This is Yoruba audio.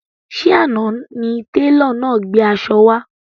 Ṣé àna ni télọ̀ náà gbé aṣọ wá?